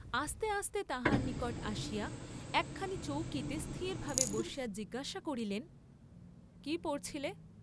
আস্তে আস্তে তাহার নিকট আসিয়া একখানি চৌকিতে স্থিরভাবে বসিয়া জিজ্ঞাসা করিলেন কি পড়ছিলে?